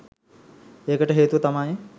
ඒකට හේතුව තමයි